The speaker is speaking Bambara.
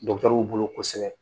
Dɔkitɛrw bolo kosɛbɛ.